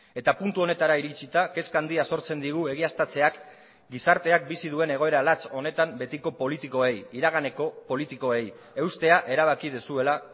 eta puntu honetara iritsita kezka handia sortzen digu egiaztatzeak gizarteak bizi duen egoera latz honetan betiko politikoei iraganeko politikoei eustea erabaki duzuela